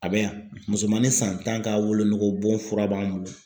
A bɛ yan musomanin san tan ka wolonugubon fura b'an bolo.